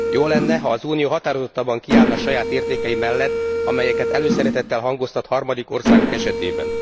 Jó lenne, ha az Unió határozottabban kiállna saját értékei mellett, amelyeket előszeretettel hangoztat harmadik országok esetében.